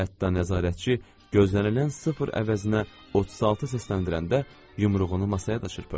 Hətta nəzarətçi gözlənilən sıfır əvəzinə 36 səsləndirəndə yumruğunu masaya da çırpırdı.